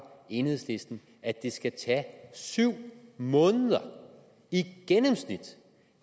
enhedslisten at det skal tage syv måneder i gennemsnit